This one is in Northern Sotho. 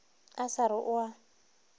a sa re o a